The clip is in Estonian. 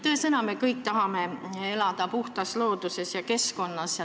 Tõesõna, me kõik tahame elada puhtas looduses ja keskkonnas.